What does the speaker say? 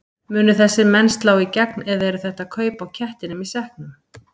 Munu þessir menn slá í gegn eða eru þetta kaup á kettinum í sekknum?